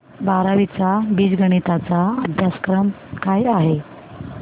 बारावी चा बीजगणिता चा अभ्यासक्रम काय आहे